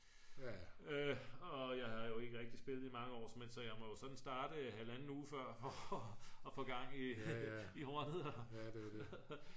og jeg har jo ikke rigtig spillet i mange år så jeg må jo sådan starte halvanden uge før for at få gang i hornet